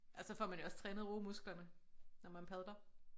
Og så får man jo også trænet romusklerne når man padler